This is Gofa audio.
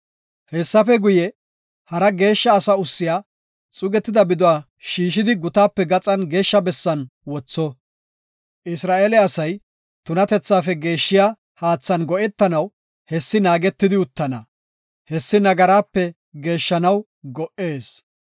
“Hessafe guye, hara geeshsha asi ussiya xuugetida biduwa shiishidi gutaape gaxan geeshsha bessan wotho. Isra7eele asay tunatethaafe geeshshiya haathan go7etanaw hessi naagetidi uttana; hessi nagaraape geeshshanaw go77ees.